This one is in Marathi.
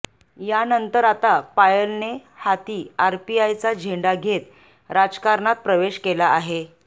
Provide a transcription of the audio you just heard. यानंतर आता पायलने हाती आरपीआयचा झेंडा घेत राजकारणात प्रवेश केला आहे